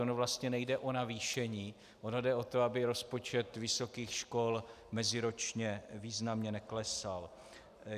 Ono vlastně nejde o navýšení, ono jde o to, aby rozpočet vysokých škol meziročně významně neklesal.